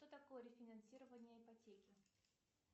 что такое рефинансирование ипотеки